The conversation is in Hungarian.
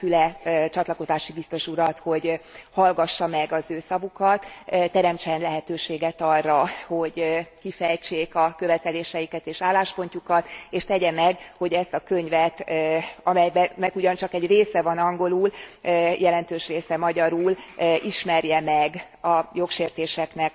Kérem Füle csatlakozási biztos urat, hogy hallgassa meg az ő szavukat, teremtsen lehetőséget arra, hogy kifejtsék a követeléseiket és álláspontjukat, és tegye meg, hogy ezt a könyvet amelynek ugyan csak egy része van angolul, jelentős része magyarul megismeri. Benne található a jogsértések